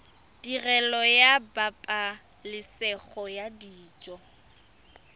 tirelo ya pabalesego ya dijo